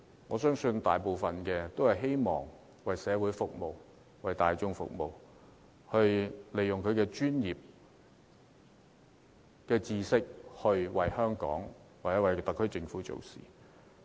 我相信她主要是希望為社會服務，為大眾服務，利用她的專業知識為香港或特區政府做事。